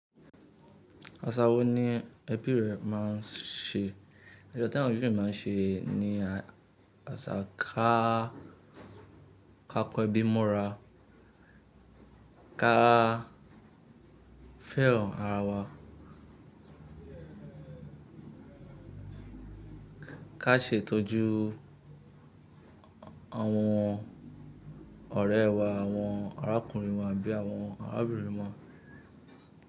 Àṣa wo ni ẹbí rẹ máa ń ṣe? Asa ta won ebi mi máa ń ṣe ni àṣa ká, ká kọ ẹbí mọ́ra, ká fẹ́ẹ́ràn ara wa, ká ṣe ìtọ́jú àwọn ọ̀rẹ́ wá, àwọn arákùnrin wà abí i àwọn arábìnrin wa.